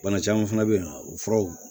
Bana caman fana bɛ yen o furaw